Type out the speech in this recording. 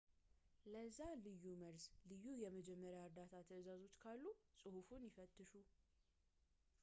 ለዚያ ልዩ መርዝ ልዩ የመጀመሪያ ዕርዳታ ትዕዛዞች ካሉ ፅሑፉን ይፈትሹ